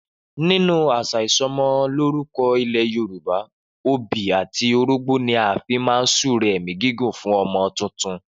Nínú àṣà isọmọlúrúkọ ilẹ̀ Yorùbá, obì àti orógbó ni a fi ń súre ẹ̀mí gígùn fún ọmọ tuntun